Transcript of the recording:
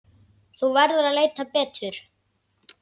Þú verður að leita betur.